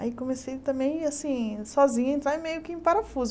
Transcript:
Aí comecei também, assim, sozinha, a entrar meio que em parafuso.